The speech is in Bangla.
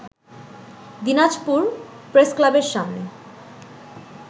দিনাজপুর প্রেসক্লাবের সামনে